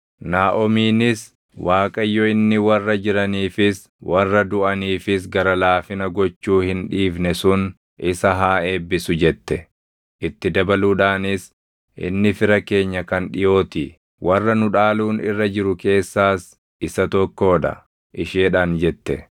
Naaʼomiinis, “ Waaqayyo inni warra jiraniifis warra duʼaniifis gara laafina gochuu hin dhiifne sun isa haa eebbisu!” jette. Itti dabaluudhaanis, “Inni fira keenya kan dhiʼoo ti; warra nu dhaaluun irra jiru keessaas isa tokkoo dha” isheedhaan jette.